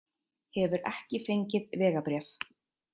Hefur ekki fengið vegabréf